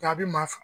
A bɛ man